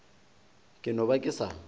ke no ba ke sa